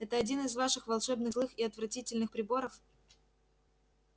это один из ваших волшебных злых и отвратительных приборов